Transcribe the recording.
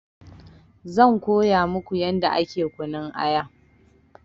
Zan koya muku yadda ake kunun aya